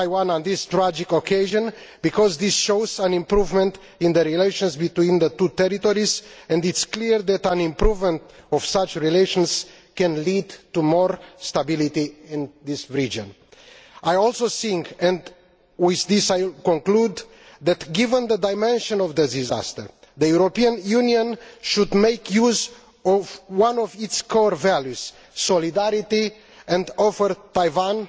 on this tragic occasion because this shows an improvement in the relations between the two territories, and it is clear that an improvement in such relations can lead to greater stability in this region. I also think, and with this I conclude, that, given the dimension of the disaster, the European Union should make use of one of its core values solidarity and offer Taiwan